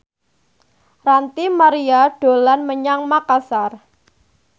Ranty Maria dolan menyang Makasar